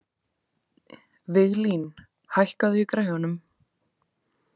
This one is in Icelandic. Viglín, hækkaðu í græjunum.